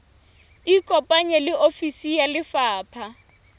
ikopanye le ofisi ya lefapha